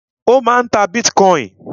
Ó máà ń ta bitcoin.